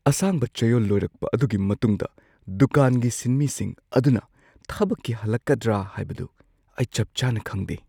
ꯑꯁꯥꯡꯕ ꯆꯌꯣꯜ ꯂꯣꯢꯔꯛꯄ ꯑꯗꯨꯒꯤ ꯃꯇꯨꯡꯗ ꯗꯨꯀꯥꯟꯒꯤ ꯁꯤꯟꯃꯤꯁꯤꯡ ꯑꯗꯨꯅ ꯊꯕꯛꯀꯤ ꯍꯜꯂꯛꯀꯗ꯭ꯔ ꯍꯥꯢꯕꯗꯨ ꯑꯩ ꯆꯞ ꯆꯥꯅ ꯈꯪꯗꯦ ꯫